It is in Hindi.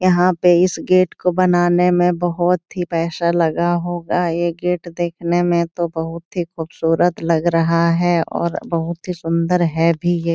यहाँ पे इस गेट को बनाने में बहुत ही पैशा लगा होगा। ये गेट देखने में तो बहुत ही खूबसूरत लग रहा है और बहुत ही सुन्दर है भी ये।